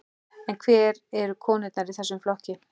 En hvar eru konurnar í þessum flokki?